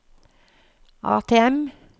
ATM